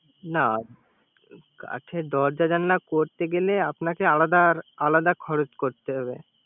না কাঠের দরজা জালান করতে গেলে আপনাকে আলাদা আলাদা খরচ করতে হবে